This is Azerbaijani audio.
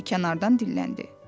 Kimsə kənardan dilləndi.